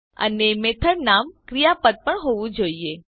અને મેથડ નામ ક્રિયાપદ પણ હોવું જોઈએ